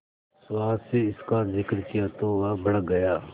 सुहास से इसका जिक्र किया तो वह भड़क गया